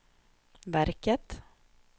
verket